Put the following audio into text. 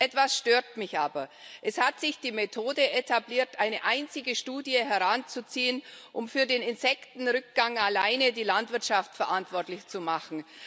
Etwas stört mich aber. Es hat sich die Methode etabliert, eine einzige Studie heranzuziehen, um für den Insektenrückgang alleine die Landwirtschaft verantwortlich zu machen.